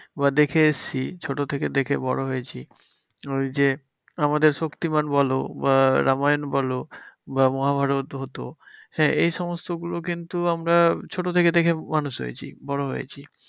বা দেখে এসেছি ছোট থেকে দেখে বড় হয়েছি। ওই যে আমাদের শক্তিমান বলো বা রামায়ণ বলো বা মহাভারত হতো হ্যাঁ, এই সমস্ত গুলো কিন্তু আমরা ছোট থেকে দেখে মানুষ হয়েছি বড় হয়েছি।